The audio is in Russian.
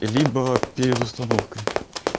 либо перед установкой